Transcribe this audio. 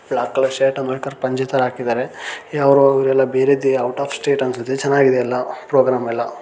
block colour shirt ಆಮೇಲೆ ಪಂಜಿ ತರ ಹಾಕಿದಾರೆ ಯಾರೋ ಅವ್ರೆಲ್ಲಾ ಬೇರೆ ಔಟ್ ಆ ಸ್ಟೇಟ್ ಅನ್ಸುತ್ತೆ ಚೆನ್ನಾಗಿದೆ ಎಲ್ಲ ಪ್ರೋಗ್ರಾಮ್ ಎಲ್ಲಾ.--